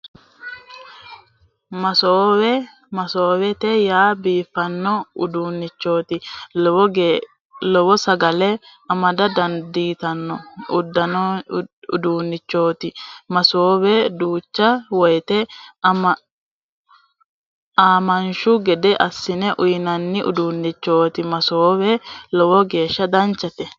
Masoowe masoowete yaa biifanno uduunnichooti lowo sagale amada dandaano uduunnichooti masoowe duucha woyete aamanshshu gede assine uuyinanni uduunnichooti masoowe lowo geesha danchate